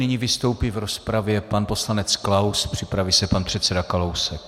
Nyní vystoupí v rozpravě pan poslanec Klaus, připraví se pan předseda Kalousek.